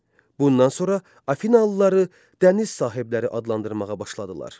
Bundan sonra Afinalıları dəniz sahibləri adlandırmağa başladılar.